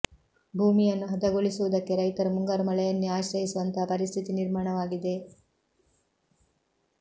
ಭೂಮಿ ಯನ್ನು ಹದಗೊಳಿಸುವುದಕ್ಕೆ ರೈತರು ಮುಂಗಾರು ಮಳೆಯನ್ನೇ ಆಶ್ರಯಿಸುವಂತಹ ಪರಿಸ್ಥಿತಿ ನಿರ್ಮಾಣವಾಗಿದೆ